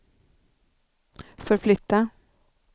förflytta